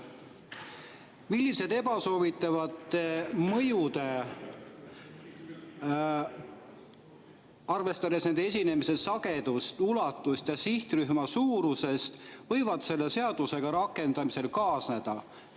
Millised ebasoovitavad mõjud, arvestades nende esinemise sagedust, ulatust ja sihtrühma suurust, võivad selle seaduse rakendamisega kaasneda?